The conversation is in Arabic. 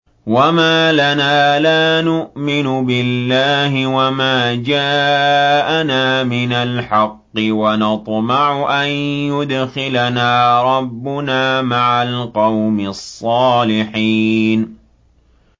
وَمَا لَنَا لَا نُؤْمِنُ بِاللَّهِ وَمَا جَاءَنَا مِنَ الْحَقِّ وَنَطْمَعُ أَن يُدْخِلَنَا رَبُّنَا مَعَ الْقَوْمِ الصَّالِحِينَ